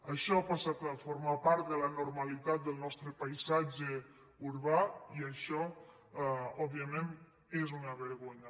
això ha passat a formar part de la normalitat del nostre paisatge urbà i això òbviament és una vergo·nya